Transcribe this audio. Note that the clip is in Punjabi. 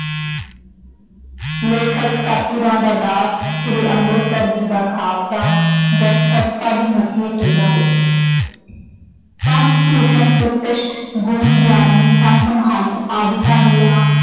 ਲੇਖਕ ਸਤਿਗੁਰਾਂ ਦਾ ਦਾਸ ਸ਼੍ਰੀ ਅੰਮ੍ਰਿਤਸਰ ਜੀ ਦਾ ਖਾਲਸਾ ਦਸਤਖਤ ਸਭ ਮੁਖੀਏ ਸਿੰਘਾਂ ਦੇ ਪੰਥ ਭੂਸ਼ਣ ਪ੍ਰਤਿਸ਼ਟ ਗੁਣੀ ਗਿਆਨੀ ਸੰਤ ਮਹੰਤ ਆਦਿਕਾ ਦੀਆਂ